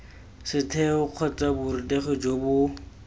setheo kgotsa borutegi jo bo